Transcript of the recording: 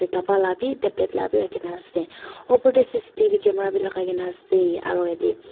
dapa labi tablet labi rakhi na ase opor tae C_C_T_V camera bi lakai kae na ase aro yatae --